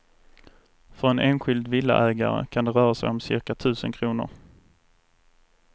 För en enskild villaägare kan det röra sig om cirka tusen kronor.